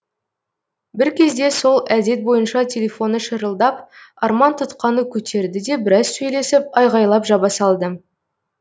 бір кезде сол әдет бойынша телефоны шырылдап арман тұтқаны көтерді де біраз сөйлесіп айғайлап жаба салды